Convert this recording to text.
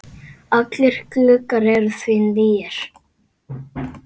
Allir gluggar eru því nýir.